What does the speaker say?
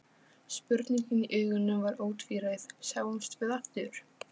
Spurningin í augunum var ótvíræð: Sjáumst við aftur?